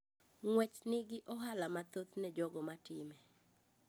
Ng'uech ni gi ohala mathoth ne jogo ma time.